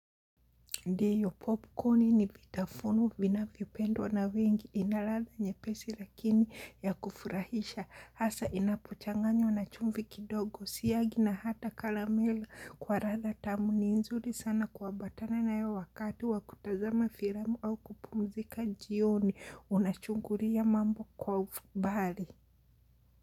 Ndiyo popcorn ni vitafunu vinavypendwa na wengi ina ladha nyepesi lakini ya kufurahisha hasa inapochanganywa na chumvi kidogo siyagi na hata karamele kwa ladha tamu ni nzuri sana kuambatana nayo wakati wa kutazama filamu au kupumzika jioni unachungulia mambo kwa umbali.